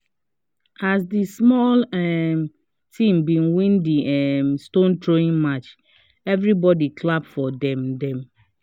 as the small um team been win the um stone throwing match every body clap for them them